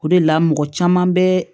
O de la mɔgɔ caman bɛ